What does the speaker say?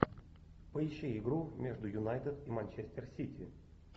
поищи игру между юнайтед и манчестер сити